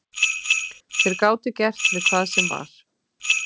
Þeir gátu gert við hvað sem var.